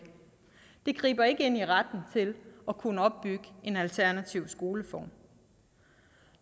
det griber ikke ind i retten til at kunne opbygge en alternativ skoleform